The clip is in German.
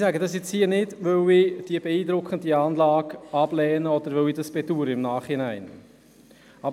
Ich sage das hier nicht, weil ich die beeindruckende Anlage ablehne oder weil ich dies im Nachhinein bedaure.